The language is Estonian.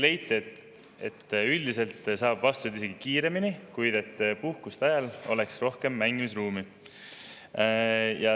Leiti, et üldiselt saab vastused isegi kiiremini, kuid puhkuste ajal olla rohkem mängimisruumi.